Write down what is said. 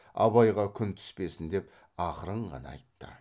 абайға күн түспесін деп ақырын ғана айтты